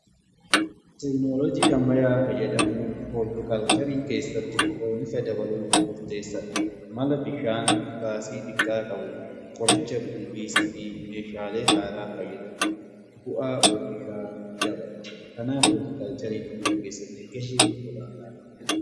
Tekinoloojii ammayyaa fayyadamuun hooltikalcharii keessatti oomisha dabaluuf murteessadha. Mala bishaan baasii xiqqaa qabu qoricha ilbiisaa fi meeshaalee haaraa fayyadamuu bu'aa oomishaa dabala. Kanaafuu hooltikaalchariin oomisha keessatti gahee olaanaa qaba.